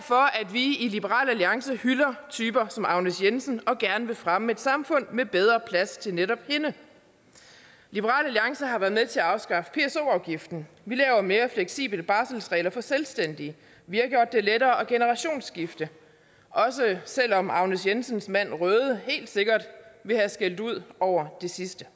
vi i liberal alliance hylder typer som agnes jensen og gerne vil fremme et samfund med bedre plads til netop hende liberal alliance har været med til at afskaffe pso afgiften vi laver mere fleksible barselsregler for selvstændige vi har gjort det lettere at generationsskifte også selv om agnes jensens mand røde helt sikkert ville have skældt ud over det sidste